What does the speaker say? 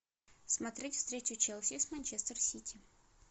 смотреть встречу челси с манчестер сити